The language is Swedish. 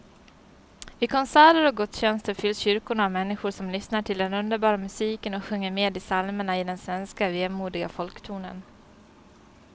Vid konserter och gudstjänster fylls kyrkorna av människor som lyssnar till den underbara musiken och sjunger med i psalmerna i den svenska vemodiga folktonen.